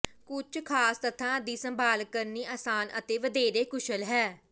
ਕੁੱਝ ਖਾਸ ਤੱਥਾਂ ਦੀ ਸੰਭਾਲ ਕਰਨੀ ਅਸਾਨ ਅਤੇ ਵਧੇਰੇ ਕੁਸ਼ਲ ਹੈ